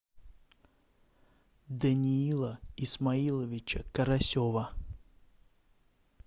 даниила исмаиловича карасева